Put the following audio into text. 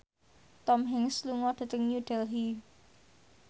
Tom Hanks lunga dhateng New Delhi